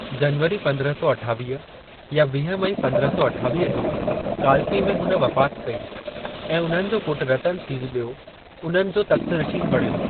जनवरी पंद्रह सौ अठावीह या वीह मई पंद्रह सौ अठावीह जो कालपी में हुन वफ़ात कई, ऐं उन्हनि जो पुट्रु रतन सिंह बि॒यों उन्हनि जो तख़्तनशीन बणियो।